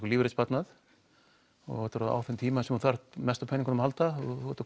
lífeyrissparnað og þetta er á þeim tíma sem þú þarft mest á peningnum að halda þú ert að